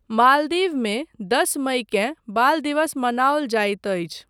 मालदीवमे दस मईकेँ बाल दिवस मनाओल जाइत अछि।